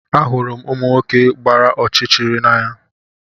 Ahụrụ m ụmụ nwoke gbara ọchịchịrị n'anya